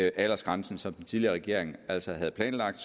aldersgrænsen som den tidligere regering altså havde planlagt